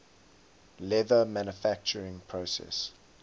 leather manufacturing process